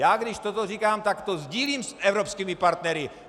Já když toto říkám, tak to sdílím s evropskými partnery.